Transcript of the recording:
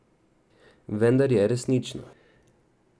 Vendar je resnično.